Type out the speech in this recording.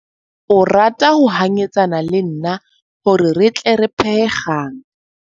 O rata ho hanyetsana le nna hore re tle re phehe kgang.